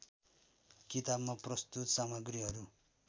किताबमा प्रस्तुत सामग्रीहरू